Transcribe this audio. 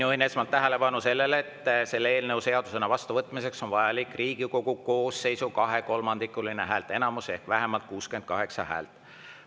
Juhin esmalt tähelepanu sellele, et selle eelnõu seadusena vastuvõtmiseks on vajalik Riigikogu koosseisu kahekolmandikuline häälteenamus ehk vähemalt 68 häält.